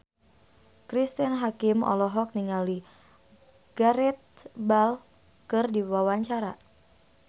Cristine Hakim olohok ningali Gareth Bale keur diwawancara